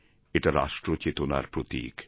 এটা রাষ্ট্রচেতনার প্রতীক